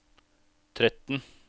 tretten